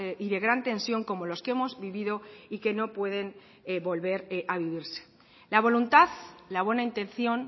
y de gran tensión como los que hemos vivido y que no pueden volver a vivirse la voluntad la buena intención